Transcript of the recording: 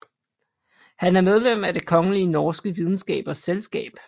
Han er medlem af Det Kongelige Norske Videnskabers Selskab